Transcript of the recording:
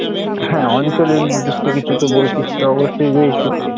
হ্যাঁ অঞ্চলের নিদৃষ্ট কিছুতো বৈশিষ্ট্য অবশ্যই রয়েছে।